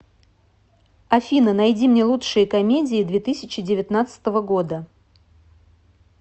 афина найди мне лучшие комедии две тысячи девятнадцатого года